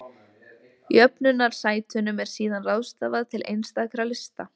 Jöfnunarsætunum er síðan ráðstafað til einstakra lista.